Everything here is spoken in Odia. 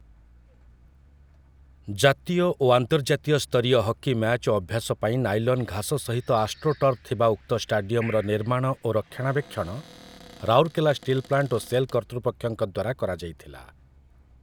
ଜାତୀୟ ଓ ଆନ୍ତର୍ଜାତୀୟ ସ୍ତରୀୟ ହକି ମ୍ୟାଚ୍ ଓ ଅଭ୍ୟାସ ପାଇଁ, ନାଇଲନ୍ ଘାସ ସହିତ ଆଷ୍ଟ୍ରୋଟର୍ଫ ଥିବା ଉକ୍ତ ଷ୍ଟାଡିୟମର ନିର୍ମାଣ ଓ ରକ୍ଷଣାବେକ୍ଷଣ, ରାଉରକେଲା ଷ୍ଟିଲ୍ ପ୍ଲାଣ୍ଟ ଓ ସେଲ୍ କର୍ତ୍ତୃପକ୍ଷଙ୍କ ଦ୍ୱାରା କରାଯାଇଥିଲା ।